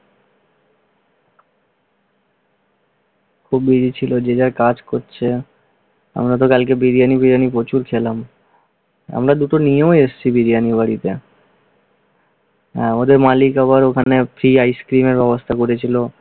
খুব busy ছিল, যে যার কাজ করছে। আমরা তো কালকে বিরিয়ানী-ফিরিয়ানী প্রচুর খেলাম। আমরা দুটো নিয়েও এসেছি বিরিয়ানী বাড়িতে। হম আমাদের মালিক আবার ওখানে free আইসক্রিমের ব্যবস্থা করেছিল।